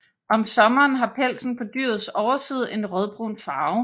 Om sommeren har pelsen på dyrets overside en rødbrun farve